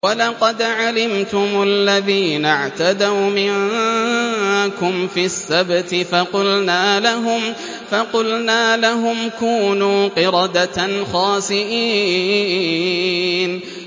وَلَقَدْ عَلِمْتُمُ الَّذِينَ اعْتَدَوْا مِنكُمْ فِي السَّبْتِ فَقُلْنَا لَهُمْ كُونُوا قِرَدَةً خَاسِئِينَ